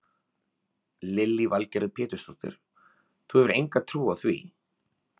Lillý Valgerður Pétursdóttir: Þú hefur enga trú á því?